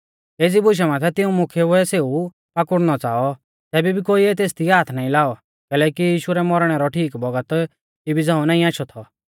एज़ी बुशा माथै तिऊं मुख्यैउऐ सेऊ पाकुड़नौ च़ाऔ तैबै भी कोइऐ तेसदी हाथ नाईं लाऔ कैलैकि यीशु रै मौरणै रौ ठीक बौगत इबी झ़ांऊ नाईं आशौ थौ